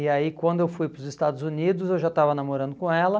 E aí quando eu fui para os Estados Unidos, eu já estava namorando com ela.